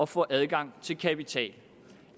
få adgang til kapital at